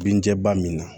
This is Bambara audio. Binja min na